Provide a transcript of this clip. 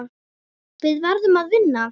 Við verðum að vinna.